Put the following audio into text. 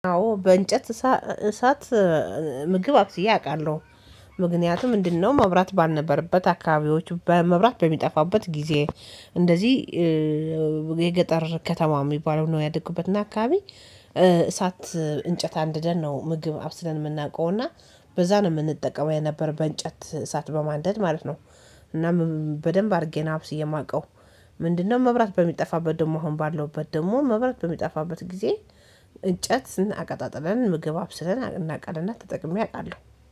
አዎ በእንጨት እሳት ምግብ አብስየ አውቃለሁ ምክንያቱም ምንድነው? መብራት ባልነበረበት አካባቢዎቹ መብራት በሚጠፋበት ጊዜ እንደዚህ የገጠር ከተማ የሚባለው ነው። ያደኩበት እና አካባቢ እሳት እንጨት አንድደን ነው። ምግብ አብስለን የምናውቀው እና በዛ ነው የምንጠቀመው የነበረው በእንጨት እሳት በማንደድ ማለት ነው። እናም በደንብ አድርጌ ነው አብስየ የማውቀው ምንድነው? መብራት በሚጠፋበት ደግሞ አሁን ባለሁበት ደግሞ መብራት በሚጠፋበት ጊዜ እንጨት አቀጣጥለን ምግብ አብስለን እናቀለን እና ተጠቅሜ አውቃለሁ